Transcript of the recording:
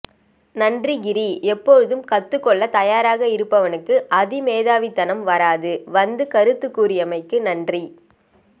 நன்றி கிரி எப்போதும் கத்துக்கொள்ள தயாராக இருப்பவனுக்கு அதிமேதாவிதனம் வராது வந்து கருத்து கூறியமைக்கு நன்றி